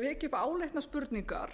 veki upp áleitnar spurningar